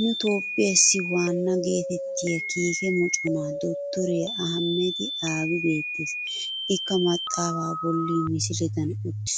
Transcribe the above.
Nu toophphiyaassi wanna geettettiya kiike moconaa dottoriya Ahmed abi beettes. Ikka maxxaafaa bolla misiledan uttis